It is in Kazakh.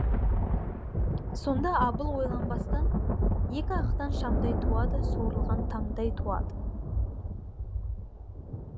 сонда абыл ойланбастан екі ақтан шамдай туады суырылған таңдай туады